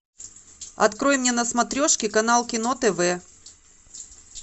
открой мне на смотрешке канал кино тв